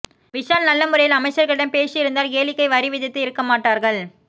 விஷால் நல்ல முறையில் அமைச்சர்களிடம் பேசி இருந்தால் கேளிக்கை வரி விதித்து இருக்க மாட்டார்கள்